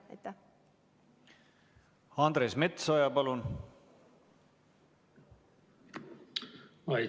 Andres Metsoja, palun!